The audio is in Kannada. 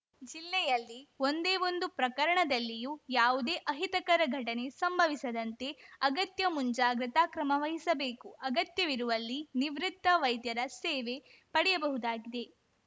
ಜಿಲ್ಲೆಯಲ್ಲಿ ಒಂದೇ ಒಂದು ಪ್ರಕರಣದಲ್ಲಿಯೂ ಯಾವುದೇ ಅಹಿತಕರ ಘಟನೆ ಸಂಭವಿಸದಂತೆ ಅಗತ್ಯ ಮುಂಜಾಗ್ರತಾ ಕ್ರಮವಹಿಸಬೇಕು ಅಗತ್ಯವಿರುವಲ್ಲಿ ನಿವೃತ್ತ ವೈದ್ಯರ ಸೇವೆ ಪಡೆಯಬಹುದಾಗಿದೆ